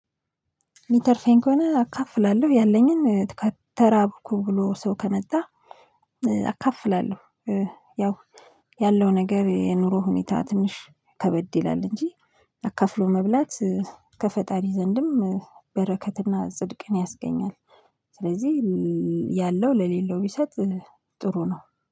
ሚተርፈኝ ከሆነ አካፍላለሁ ያለኝን ተራብኩ ብሎ ሰው ከመጣ አካፍላለሁ ያው ያለው ነገር የኑሮ ሁኔታ ትንሽ ከበድ ይላል እንጂ አካፍሎ መብላት ከፈጣሪ ዘንድም በረከትና ጽድቅን ያስገኛል ስለዚህ ያለው ለሌለው ቢሰጥ ጥሩ ነው።